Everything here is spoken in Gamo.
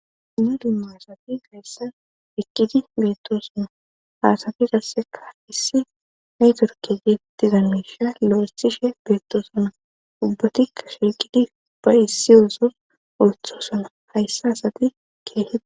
Nam'u dumma asati gayssan ekkidi beettosona ha asati qasseka issi netiworke geettida miishsha lo'eththishshe beettoosona ubbatikka shilqidi ba issi yosos oththossona hayssa asati keehi